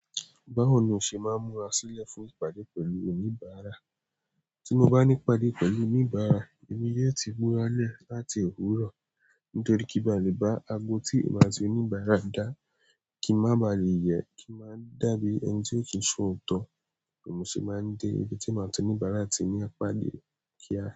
Báwo ni o ṣe máa ń múra sílẹ̀ fún ìpàdé pẹ̀lú oníbàárà? Tí mo bá ní ìpàdé pẹ̀lú oníbàárà, èmi yo ti múra lẹ̀ láti òwúrọ̀. Nítorí kí n ba lè bá ago tí èmi àti oníbàárà dá, kí n má ba lè yẹ kí n má dàbí ẹni tí ò kí ń ṣòótọ́. Èmi ṣé máa ń dé ibi tí èmi àti oníbàárà ti ní ìpàdé kí a.